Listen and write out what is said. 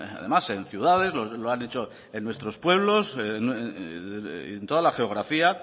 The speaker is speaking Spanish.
además en ciudades lo han hecho en nuestros pueblos y en toda la geografía